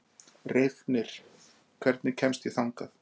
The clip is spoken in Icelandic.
Reifnir, hvernig kemst ég þangað?